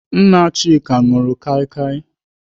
Nna Chika nụrụ kaikai.